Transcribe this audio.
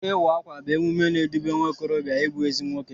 Ịwa ákwà bụ emume na-edube nwaokorobịa n'ịbụ ezi nwoke.